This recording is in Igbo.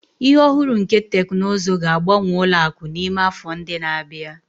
Ihe ohuru nke teknụzụ ga-agbanwe ụlọ akụ n'ime afọ ndị na-abịa.